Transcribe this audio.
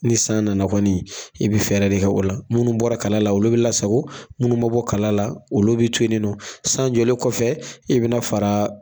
Ni san nana kɔni i bɛ fɛɛrɛ de kɛ o la, munnu bɔra kala la olu bɛ la sago, munnu ma bɔ kala la olu bɛ to yen ni nɔ. San jɔlen kɔfɛ, i bɛ na fara